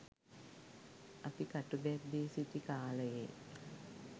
අපි කටුබැද්දේ සිටි කාලයේ